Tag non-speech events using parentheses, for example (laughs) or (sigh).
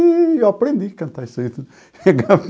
Eu aprendi a cantar isso aí. (laughs)